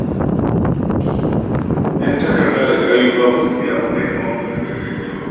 Ƴan takarda da gayu fa ba su fiya amfani da magungunan gargajiya ba.